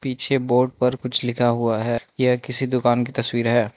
पीछे बोर्ड पर कुछ लिखा हुआ है। यह किसी दुकान की तस्वीर है।